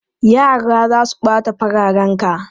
Yara za su ɓata fararenka!